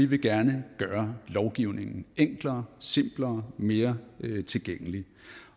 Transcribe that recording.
vi gerne vil gøre lovgivningen enklere simplere mere tilgængelig